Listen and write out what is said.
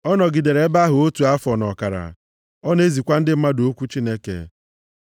Ọ nọgidere ebe ahụ otu afọ na ọkara. Ọ na-ezikwa ndị mmadụ okwu Chineke.